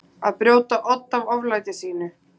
Að brjóta odd af oflæti sínu